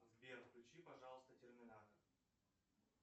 сбер включи пожалуйста терминатор